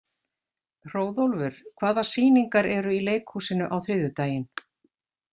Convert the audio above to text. Hróðólfur, hvaða sýningar eru í leikhúsinu á þriðjudaginn?